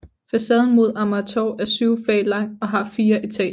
Facaden mod Amagertorv er syv fag lang og har fire etager